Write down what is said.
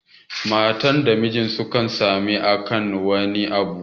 Mata da Miji sukan samu saɓani akan wani abu.